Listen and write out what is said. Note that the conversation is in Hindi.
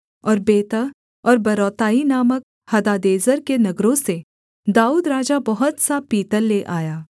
और बेतह और बेरौताई नामक हदादेजेर के नगरों से दाऊद राजा बहुत सा पीतल ले आया